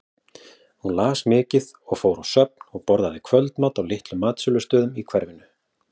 Hún las mikið og fór á söfn og borðaði kvöldmat á litlum matsölustöðum í hverfinu.